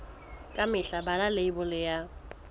ka mehla bala leibole ya